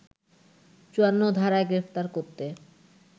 ৫৪ ধারায় গ্রেপ্তার করতে